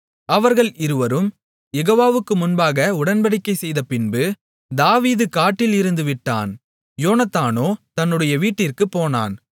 அவர்கள் இருவரும் யெகோவாவுக்கு முன்பாக உடன்படிக்கைசெய்த பின்பு தாவீது காட்டில் இருந்து விட்டான் யோனத்தானோ தன்னுடைய வீட்டிற்குப் போனான்